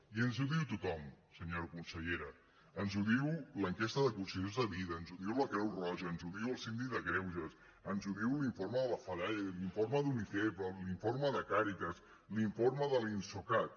i ens ho diu tothom senyora consellera ens ho diu l’enquesta de condicions de vida ens ho diu la creu roja ens ho diu el síndic de greuges ens ho diu l’informe de la fedaia l’informe d’unicef l’informe de càrites l’informe de l’insocat